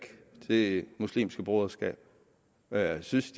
det muslimske broderskab og jeg synes